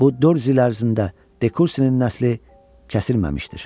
Bu 400 il ərzində Dekursinin nəsli kəsilməmişdir.